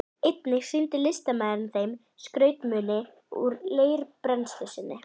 Einnig sýndi listamaðurinn þeim skrautmuni úr leirbrennslu sinni.